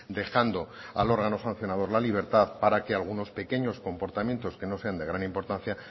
dejando al órgano sancionador la libertad para que algunos pequeños comportamientos que no sean de gran importancia